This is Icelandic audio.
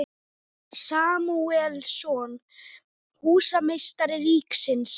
Samúelsson, húsameistari ríkisins.